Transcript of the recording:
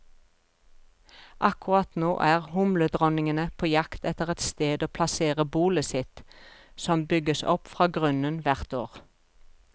Akkurat nå er humledronningene på jakt etter et sted å plassere bolet sitt, som bygges opp fra grunnen hvert år.